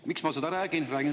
Miks ma seda räägin?